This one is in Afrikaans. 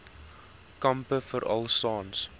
kampe veral saans